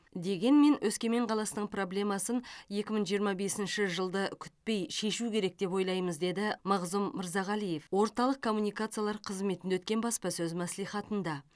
дегенмен өскемен қаласының проблемасын екі мың жиырма бесінші жылды күтпей шешу керек деп ойлаймыз деді мағзұм мырзағалиев орталық коммуникациялар қызметінде өткен баспасөз мәслихатында